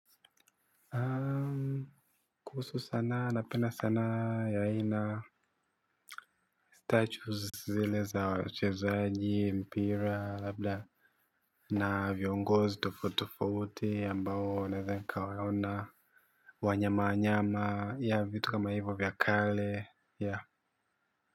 Kuhusu sanaa napenda sanaa ya aina Statues zile za wachezaji, mpira, na viongozi tofauti tofauti ambao naeza nikawaona. Wanyama wanyama vitu kama hivyo vya kale.